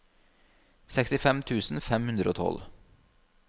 sekstifem tusen fem hundre og tolv